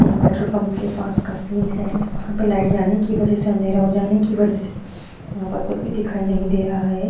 ये petrol pump के पास का सीन है जहा पर लाइट जाने की वजह से अंधेरा हो जाने की वजह से वहा पर कुछ भी दिखाई नहीं दे रहा है।